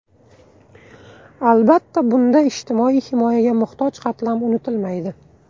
Albatta, bunda ijtimoiy himoyaga muhtoj qatlam unutilmaydi.